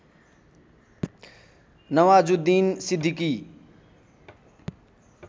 Nawazuddin Siddiqui